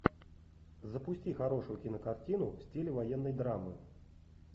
запусти хорошую кинокартину в стиле военной драмы